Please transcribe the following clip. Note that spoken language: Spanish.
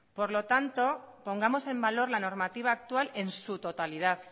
por lo tanto pongamos en valor la normativa actual en su totalidad